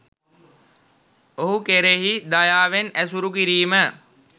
ඔහු කෙරෙහි දයාවෙන් ඇසුරු කිරීම